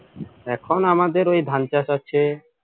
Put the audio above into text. এখন আমাদের ওই ধান চাষ আছে